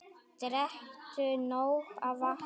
Drekktu nóg af vatni.